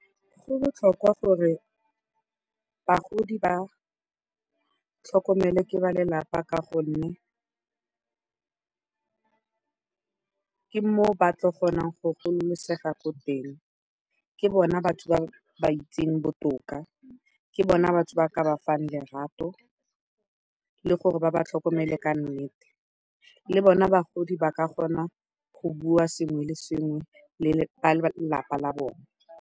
Go botlhokwa gore bagodi ba tlhokomelwe ke balelapa ka gonne ke moo ba tla kgonang go gololosega ko teng, ke bona batho ba ba ba itseng botoka, ke bona batho ba ba ka ba fang lerato le gore ba ba tlhokomele ka nnete, le bona bagodi ba ka kgona go bua sengwe le sengwe le balelapa la bone.